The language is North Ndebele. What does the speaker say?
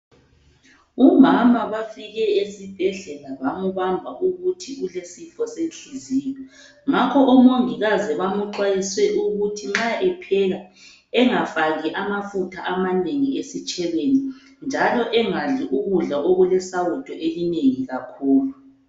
Umama bafike esibhedlela bambamba ukuthi ulesifo senhliziyo ngakho omongikazi bamuxwayise ukuthi nxa epheka engafaki amafutha amanengi esitshebeni njalo angadli ukudla okulesawudo elinengi kakhulu.